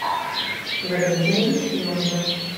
валентина ефимовна